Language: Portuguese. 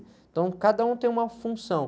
Então, cada um tem uma função.